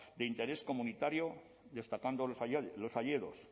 de interés comunitario destacando los hayedos